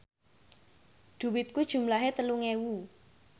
dhuwitku jumlahe telung ewu